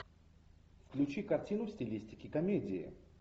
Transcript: включи картину в стилистике комедии